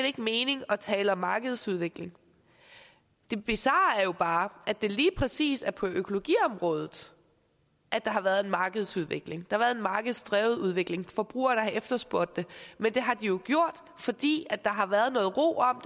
ikke mening at tale om markedsudvikling det bizarre er jo bare at det lige præcis er på økologiområdet at der har været en markedsudvikling der har været en markedsdrevet udvikling og forbrugerne har efterspurgt det men det har de jo gjort fordi der har været noget ro om